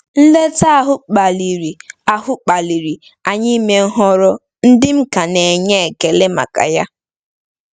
Nleta ahụ kpaliri ahụ kpaliri anyị ime nhọrọ ndị m ka na-enwe ekele maka ya.